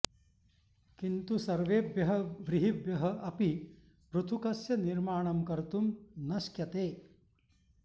किन्तु सर्वेभ्यः व्रीहिभ्यः अपि पृथुकस्य निर्माणं कर्तुं न श्क्यते